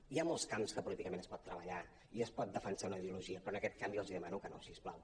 hi ha molts camps en què políticament es pot treballar i es pot defensar una ideologia però en aquest camp jo els demano que no si us plau